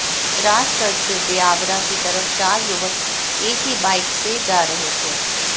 राजगढ़ से ब्यावरा की तरफ चार युवक एक ही वाइक से जा रहे थे